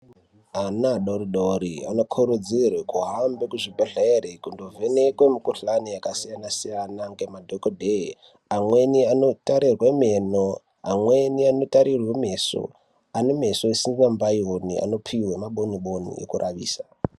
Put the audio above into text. Ana adoridori anokurudzirwe kuhambe kuzvibhedhlere kundovhenekwe mukuhlani yakasiyana siyana ngemadhokodheya. Amweni anotarirwe meno, amweni anotarirwe meso. Ane meso isingambaioni anopuwe maboniboni ekuravisa.